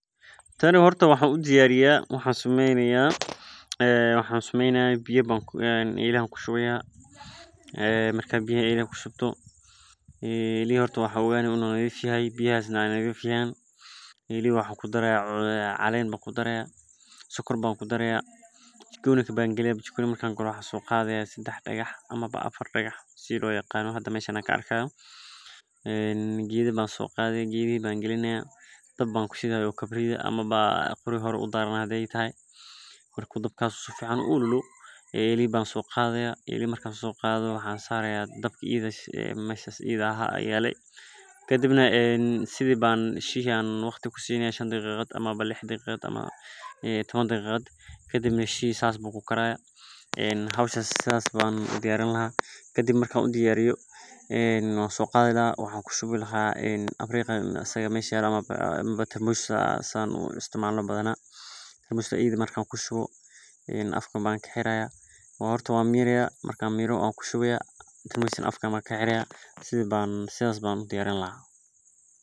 Tani horta waxan udiyariya biya ayan ela kushubanaya cana ayan kudaraya sokor ban kudaraya sedax digax ban soqadaya qorya ayan kushidaya elaha ayan sari laha daqiqada ayan sugi lahay marku karo wan soqadi kaha tarmush ayan kushubi laha markaa sas ayan u diyarini lahay hoshan waa hol aad u muhiim san marka sas ayan u qawani lahay.